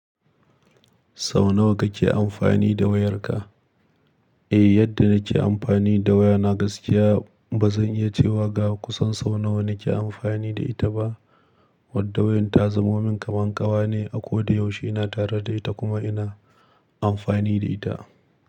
Sau nawa kake amfani da wayarka? Eh, yadda nake amfani da waya na gaskiya ba zan iya cewa ga kusan sau nawa nake amfani da ita ba. Wadda wayar ta zumomin kamar ƙawa ne a ko da yaushe ina tare da ita kuma ina amfani da ita.